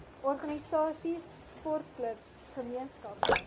organisasies sportklubs gemeenskappe